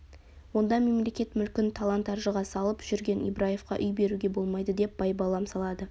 онда мемлекет мүлкін талан-таржыға салып жүрген ибраевқа үй беруге болмайды деп байбалам салады